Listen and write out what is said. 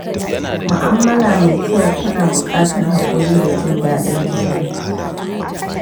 Mu'amala mai kyau tana buƙatar haƙuri da jin daɗin juna.